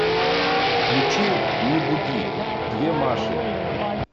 включи не буди две маши